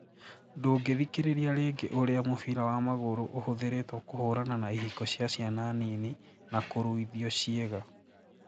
Ndũngĩthikĩrĩria rĩngĩ Ũrĩa mũbira wa magũrũ ũhũthĩrĩtwo kũhũrana na ihiko cia ciana nini na kũruithio ciĩga